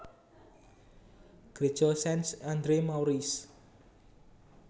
Gréja Saint Andre Maurice